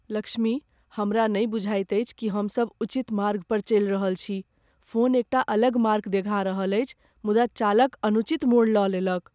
लक्ष्मी, हमरा नहि बुझाइत अछि कि हम सब उचित मार्ग पर चलि रहल छी। फोन एकटा अलग मार्ग देखा रहल अछि मुदा चालक अनुचित मोड़ लऽ लेलक।